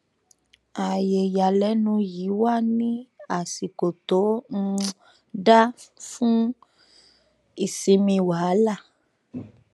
ààyè ìyàlẹnu yìí wá ní àsìkò tó um dáa um fún ìsinmi wàhálà